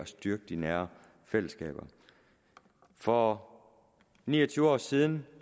styrker de nære fællesskaber for ni og tyve år siden